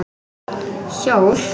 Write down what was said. Hjól?